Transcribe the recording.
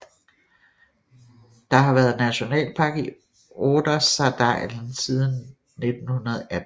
Der har været nationalpark i Ordesadalen siden 1918